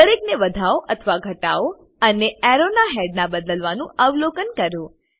દરેકને વધાવો અથવા ઘટાવો અને એર્રો ના હેડના બદ્લાવનું અવલોકન કરો